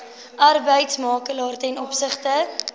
arbeidsmakelaar ten opsigte